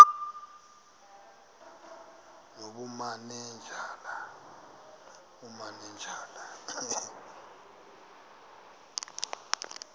nobumanejala